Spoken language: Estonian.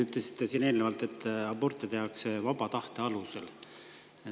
Te ütlesite siin eelnevalt, et aborte tehakse vaba tahte alusel.